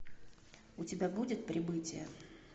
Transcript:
у тебя будет прибытие